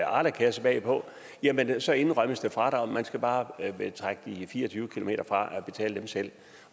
arlakasse bagpå jamen så indrømmes der fradrag man skal bare trække fire og tyve km fra og betale dem selv